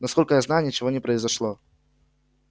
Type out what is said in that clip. насколько я знаю ничего не произошло